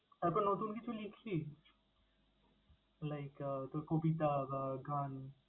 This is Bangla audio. তারপর নতুন কিছু লিখলি? Like আহ তোর কবিতা বা গান?